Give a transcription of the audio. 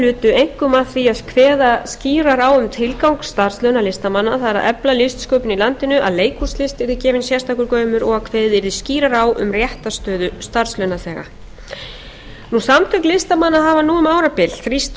lutu einkum að því að kveða skýrar á um tilgang starfslauna listamanna það er að efla listsköpun í landinu að leikhúslist yrði gefinn sérstakur gaumur og að kveðið yrði skýrar á um réttarstöðu starfslaunaþega samtök listamanna hafa nú um árabil þrýst